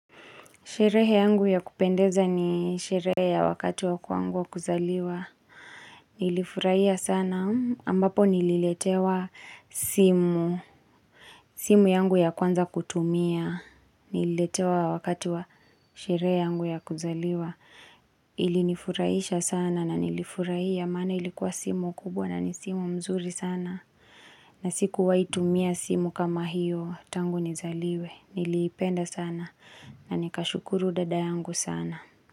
Sherehe yangu ya kupendeza ni sherehe ya wakati wa kwangu wa kuzaliwa. Nilifurahia sana ambapo nililetewa simu. Simu yangu ya kwanza kutumia. Nililetewa wakati wa sherehe yangu ya kuzaliwa. Ilinifurahisha sana na nilifurahia maana ilikuwa simu kubwa na ni simu mzuri sana. Na sikuwai tumia simu kama hiyo tangu nizaliwe. Niliipenda sana. Na nikashukuru dada yangu sana.